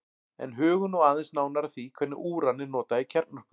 En hugum nú aðeins nánar að því hvernig úran er notað í kjarnorku.